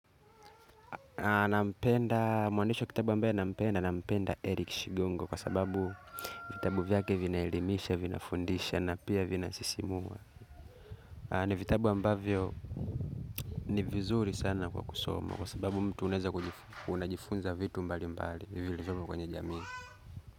Nampenda mwandishi wa kitabu ambaye nampenda nampenda eric shigongo kwa sababu vitabu vyake vinaelimisha vinafundisha na pia vinasisimua ni vitabu ambayo ni vizuri sana kwa kusomo kwa sababu mtu uneza kujifunza vitu mbali mbali hivyo ilifunza kwenye jamii.